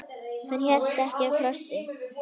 Hann hélt ekki á krossi.